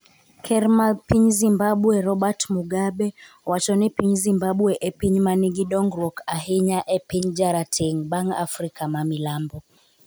Ker mar piny Zimbabwe Robert Mugabe owacho ni piny Zimbabwe e piny ma nigi dongruok ahinya e piny jarateng' bang' Afrika ma Milambo.